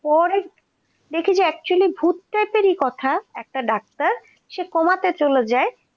পরে দেখি যে actually ভূত প্রেতেরই কথা একটা doctor সে coma তে চলে যায়।